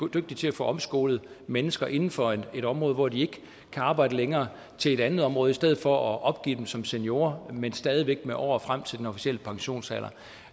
dygtige til at få omskolet mennesker inden for et område hvor de ikke kan arbejde længere til et andet område i stedet for at opgive dem som seniorer men stadig væk med år frem til den officielle pensionsalder